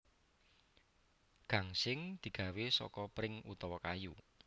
Gangsing digawé seka pring utawa kayu